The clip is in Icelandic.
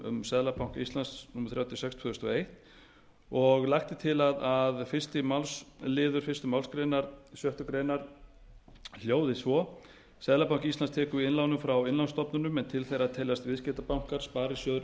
um seðlabanka íslands númer þrjátíu og sex tvö þúsund og eins og lagt er til að fyrstu málsl fyrstu málsgrein sjöttu grein hljóði svo seðlabanki íslands tekur við innlánum frá innlánsstofnunum en til þeirra teljast viðskiptabankar sparisjóðir